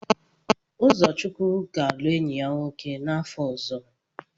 Ụzọchukwu ga-alụ enyi ya nwoke n'afọ ọzọ.